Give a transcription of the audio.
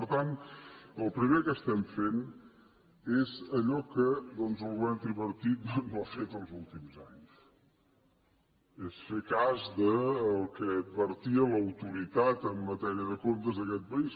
per tant el primer que estem fent és allò que el govern tripartit no ha fet els últims anys que és fer cas del que advertia l’autoritat en matèria de comptes d’aquest país